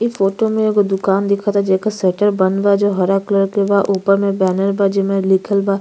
ई फोटो में एगो दुकान दिखता जेकर शटर बंद बा जो हरा कलर के बा। ऊपर में बैनर बा जेमें लिखल बा --